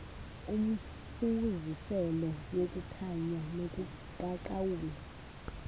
umfuziselo wokukhanya nobuqaqawuli